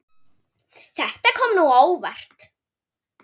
Þetta kom á óvart.